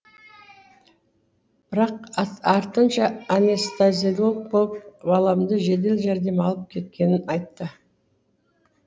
бірақ артынша анестезиолог болып баламды жедел жәрдем алып кеткенін айтты